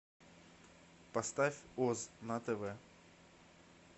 поставь оз на тв